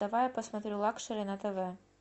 давай я посмотрю лакшери на тв